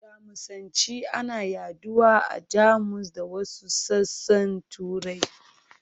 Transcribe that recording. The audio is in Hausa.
Jamusanci ana yaɗuwa a Jamus da wasu sassan Turai.